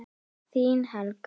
Þín, Helga.